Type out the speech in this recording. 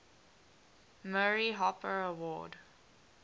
murray hopper award